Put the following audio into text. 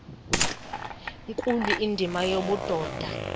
nkulu indima yobudoda